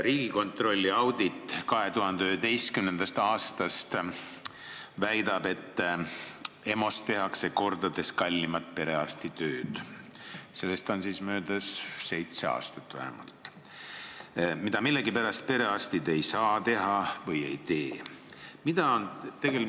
Riigikontrolli audit 2011. aastast väidab , et EMO-s tehakse mitu korda kallimat perearstitööd, mida perearstid millegipärast ei saa teha või ei tee.